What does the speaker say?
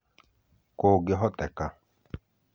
Kũngĩhoteka,